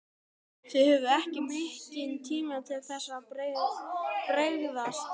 Þið höfðuð ekki mikinn tíma til þess að bregðast við?